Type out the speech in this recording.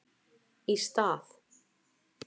Í stað